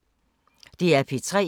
DR P3